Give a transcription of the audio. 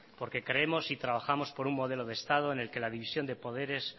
porque creemos y trabajamos por un modelo de estado en el que la división de poderes